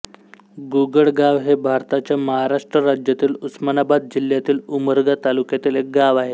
गुगळगाव हे भारताच्या महाराष्ट्र राज्यातील उस्मानाबाद जिल्ह्यातील उमरगा तालुक्यातील एक गाव आहे